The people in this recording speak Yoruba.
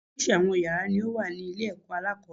Oríṣiríṣi àwọn yàrá ni ó wà ní ilé èkó alákòóbèrè